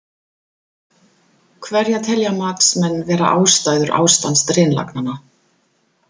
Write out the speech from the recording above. Hverjar telja matsmenn vera ástæður ástands drenlagnanna?